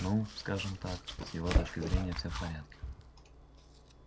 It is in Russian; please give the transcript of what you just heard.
ну скажем так с его точки зрения всё в порядке